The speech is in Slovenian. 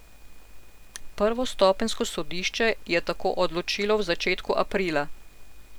Prvostopenjsko sodišče je tako odločilo v začetku aprila.